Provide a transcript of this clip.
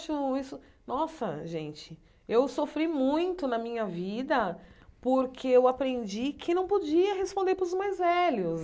isso nossa, gente, eu sofri muito na minha vida porque eu aprendi que não podia responder para os mais velhos.